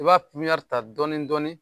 I b'a ta dɔɔni dɔɔni .